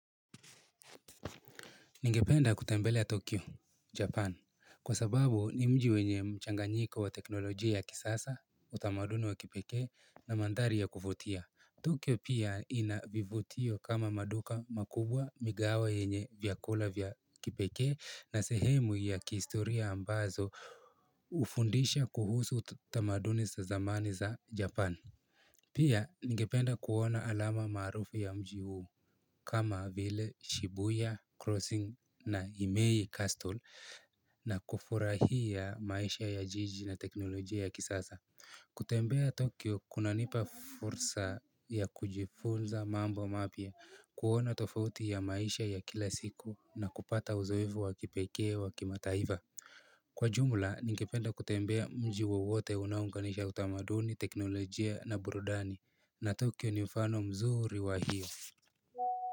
Ningependa kutembelea Tokyo, Japan. Kwa sababu ni mji wenye mchanganyiko wa teknolojia ya kisasa, utamaduni wa kipekee na mandhari ya kuvutia. Tokyo pia inavivutio kama maduka makubwa migawa yenye vyakula vya kipekee na sehemu ya kihistoria ambazo hufundisha kuhusu utamaduni sa zamani za Japan. Pia, ningependa kuona alama maarufu ya mji huu kama vile Shibuya, Crossing na Imei Castle na kufurahia maisha ya jiji na teknolojia ya kisasa. Kutembea Tokyo, kunanipa fursa ya kujifunza mambo mapya kuona tofauti ya maisha ya kila siku na kupata uzoevu wa kipekee wa kimataiva. Kwa jumla ningependa kutembea mji wowote unaounganisha utamaduni teknolojia na burudani na tokyo ni mfano mzuri wa hiyo.